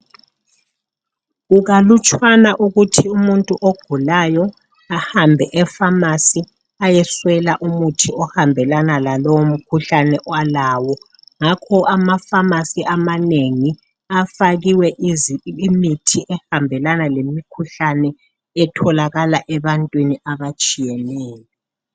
Kukalutshwana ukuthi umuntu ogulayo ahambe e pharmacy ayeswela umuthi ohambelana lalowo mkhuhlane alawo ngakho ama pharmacy amanengi afakiwe imithi ehambelana lemikhuhlane etholakala ebantwini a atshiyeneyo.